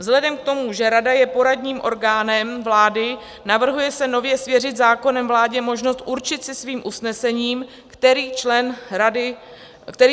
Vzhledem k tomu, že rada je poradním orgánem vlády, navrhuje se nově svěřit zákonem vládě možnost určit si svým usnesením, který člen vlády radu povede.